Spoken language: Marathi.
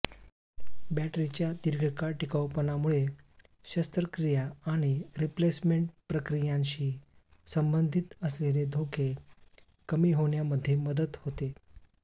बॅटरीच्या दीर्घकाळ टिकाऊपणामुळे शस्त्रक्रिया आणि रिप्लेसमेंट प्रक्रियांशी संबंधित असलेले धोके कमी होण्यामध्ये मदत होते